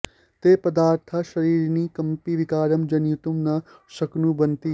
ते पदार्थाः शरीरिणि कमपि विकारं जनयितुं न शक्नुवन्ति